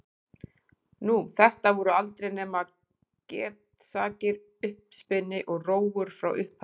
Nú, þetta voru aldrei nema getsakir, uppspuni og rógur frá upphafi.